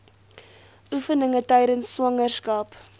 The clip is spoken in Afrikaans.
oefeninge tydens swangerskap